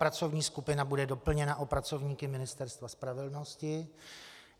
Pracovní skupina bude doplněna o pracovníky Ministerstva spravedlnosti.